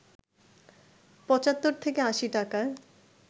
৭৫ থেকে ৮০ টাকায়